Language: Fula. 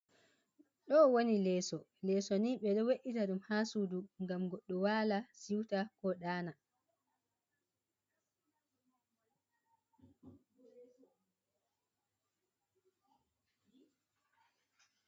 Dowoni leeso, leeso ni be do we’ita dum ha sudu gam goddo wala siuta ko dana.